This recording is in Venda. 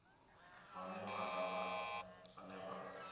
vhane vhana vha hone vha